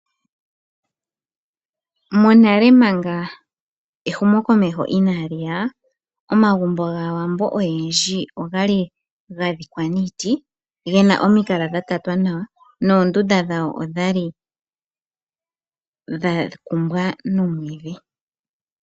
Monale manga ehumokomeho inaa li ya, omagumbo gaawambo oyendji oga li ga dhikwa niiti gena omikala dha tatwa nawa noondunda dhawo odha li dha kumbwa nomwiidhi.